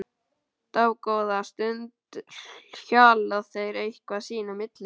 Dágóða stund hjala þeir eitthvað sín á milli.